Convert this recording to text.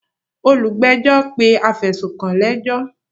Olùgbẹ́jọ́ pé afẹ̀sùnkàn lẹ́jọ́.